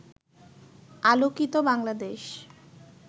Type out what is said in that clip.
আলোকিত বাংলাদেশ